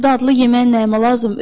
Souslu dadlı yemək nəyimə lazım.